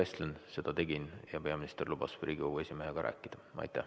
Seda ma tegin ja peaminister lubas Riigikogu esimehega rääkida.